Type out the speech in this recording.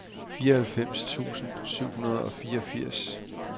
fireoghalvfems tusind syv hundrede og fireogfirs